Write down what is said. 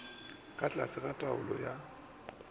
ka tlase ga taolo ya